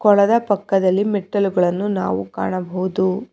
ಕೊಳೆದ ಪಕ್ಕದಲ್ಲಿ ಮೆಟ್ಟಿಲುಗಳನ್ನು ನಾವು ಕಾಣಬಹುದು.